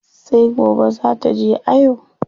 Sai gobe zaa taje ayo.